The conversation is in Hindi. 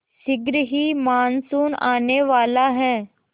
शीघ्र ही मानसून आने वाला है